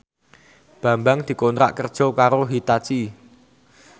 Bambang dikontrak kerja karo Hitachi